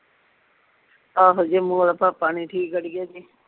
ਆਹੋ ਜੰਮੂ ਵਾਲਾ ਭਾਪਾ ਨੀ ਠੀਕ ਅੜੀਏ